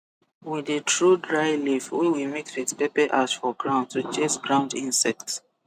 we dey throw dry leaf wey we mix with pepper ash for ground to chase ground insect